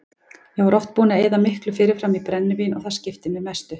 Ég var oft búinn að eyða miklu fyrirfram í brennivín og það skipti mig mestu.